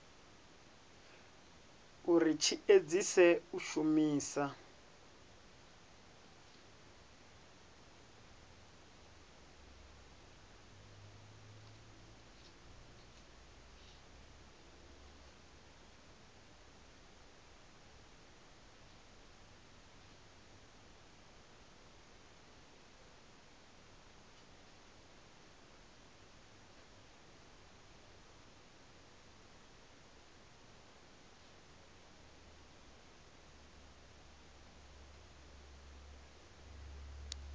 uri tshi edzise u shumisa